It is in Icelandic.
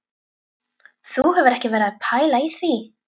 Þú hefur ekki verið að pæla í því?